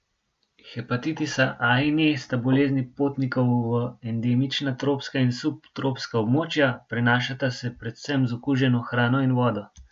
Hepatitisa A in E sta bolezni potnikov v endemična tropska in subtropska območja, prenašata se predvsem z okuženo hrano in vodo.